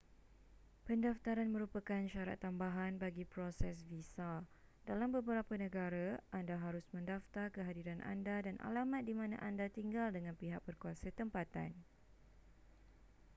pendaftaran merupakan syarat tambahan bagi proses visa dalam beberapa negara anda harus mendaftar kehadiran anda dan alamat di mana anda tinggal dengan pihak berkuasa tempatan